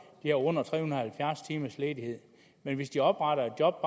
har under tre hundrede og halvfjerds timers ledighed men hvis de opretter et job